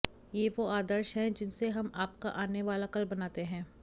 ये वो आदर्श हैं जिनसे हम आपका आने वाला कल बनाते हैं